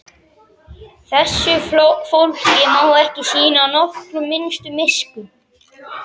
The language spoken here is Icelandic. Þessu fólki má ekki sýna nokkra minnstu miskunn!